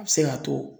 A bɛ se k'a to